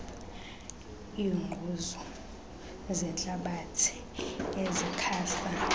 iingquzu zentlabathi ezixhasa